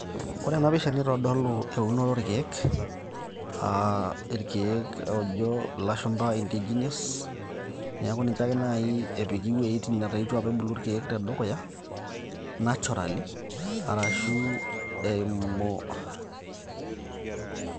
Ore ena pisha nitodolu eunore orkeek aa irkeek ojo ilashumpa indigenous neeku ninche ake naaji epiki iwuejitin netaa itu apa ebulu irkeek tedukuya naturally arashu eimu.